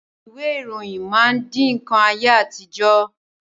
Ìwé ìròyìn máa di nkan ayé àtijọ́